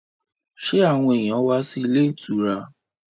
Sẹ́ àwọn èyàn wá sí ilé ìtura?